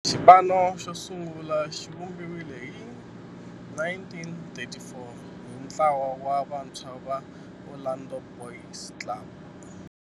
Xipano xosungula xivumbiwile hi 1934 hi ntlawa wa vantshwa va Orlando Boys Club.